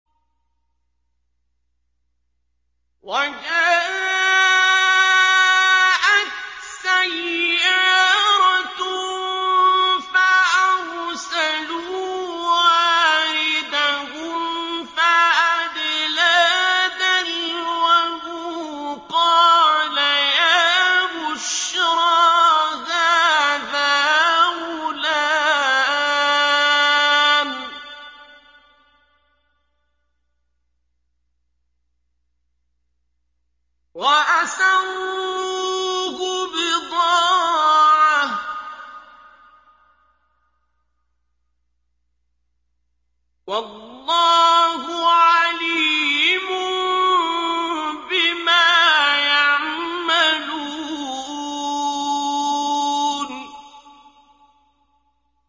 وَجَاءَتْ سَيَّارَةٌ فَأَرْسَلُوا وَارِدَهُمْ فَأَدْلَىٰ دَلْوَهُ ۖ قَالَ يَا بُشْرَىٰ هَٰذَا غُلَامٌ ۚ وَأَسَرُّوهُ بِضَاعَةً ۚ وَاللَّهُ عَلِيمٌ بِمَا يَعْمَلُونَ